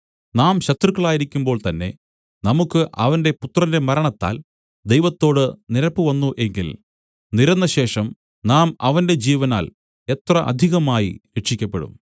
നാം ശത്രുക്കളായിരിക്കുമ്പോൾത്തന്നെ നമുക്ക് അവന്റെ പുത്രന്റെ മരണത്താൽ ദൈവത്തോടു നിരപ്പു വന്നു എങ്കിൽ നിരന്നശേഷം നാം അവന്റെ ജീവനാൽ എത്ര അധികമായി രക്ഷിയ്ക്കപ്പെടും